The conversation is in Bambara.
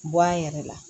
Bɔ a yɛrɛ la